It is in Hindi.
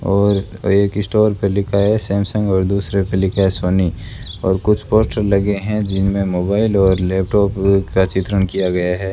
और एक स्टोर पे लिखा है सैमसंग और दूसरे पे लिखा है सोनी और कुछ पोस्टर लगे है जिनमें मोबाइल और लैपटॉप का चित्रण किया गया है।